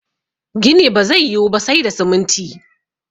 gini ba zai yi Wu ba sai da siminti